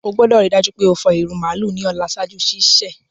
O gbọ́dọ̀ rii dájú pe o fọ ìrù màálù ni ọ̀la ṣaaju sísẹ̀.